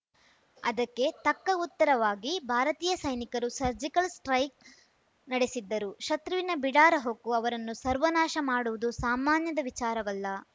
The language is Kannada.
ಅದಕ್ಕೆ ತಕ್ಕ ಉತ್ತರವಾಗಿ ಭಾರತೀಯ ಸೈನಿಕರು ಸರ್ಜಿಕಲ್‌ ಸ್ಟ್ರೈಕ್ ನಡೆಸಿದ್ದರು ಶತ್ರುವಿನ ಬಿಡಾರ ಹೊಕ್ಕು ಅವರನ್ನು ಸರ್ವನಾಶ ಮಾಡುವುದು ಸಾಮಾನ್ಯದ ವಿಚಾರವಲ್ಲ